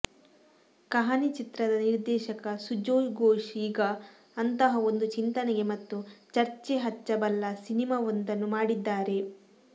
ಕಹಾನಿ ಚಿತ್ರದ ನಿರ್ದೇಶಕ ಸುಜೋಯ್ ಘೋಷ್ ಈಗ ಅಂತಹ ಒಂದು ಚಿಂತನೆಗೆ ಮತ್ತು ಚರ್ಚೆ ಹಚ್ಚ ಬಲ್ಲ ಸಿನಿಮಾವೊಂದನ್ನ ಮಾಡಿದ್ದಾರೆ